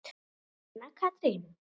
Anna Katrín.